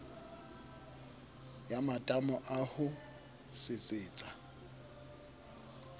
ya matamo a ho sesetsa